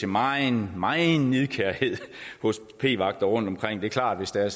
megen megen nidkærhed hos p vagterne rundtomkring det er klart at